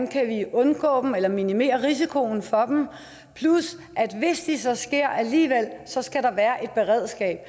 kan undgå dem eller minimere risikoen for dem plus at hvis de så sker alligevel skal der være et beredskab